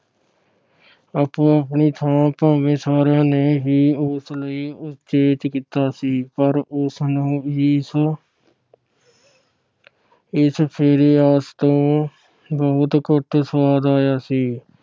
ਆਪੋ ਆਪਣੀ ਥਾਂ ਭਾਵੇ ਸਾਰੀਆਂ ਨੇ ਹੀ ਉਸ ਲਈ ਉਚੇਚ ਕੀਤਾ ਸੀ ਪਰ ਉਸਨੂੰ ਇਸ ਇਸ ਫੇਰੇ ਆਸ ਤੋਂ ਬਹੁੱਤ ਘੱਟ ਸਵਾਦ ਆਇਆ ਸੀ ।